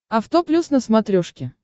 авто плюс на смотрешке